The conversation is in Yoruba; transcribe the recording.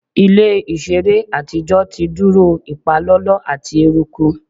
Ile iṣere atijọ ti duro ipalọlọ ati eruku